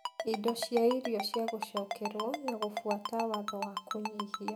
indo cia irio cia gũcokerwo, na gũbuata watho wa kũnyihia